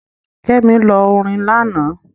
Kẹ́mi lọ orin lánàá.